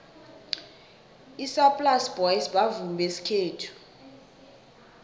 isaplasi boys bavumi besikhethu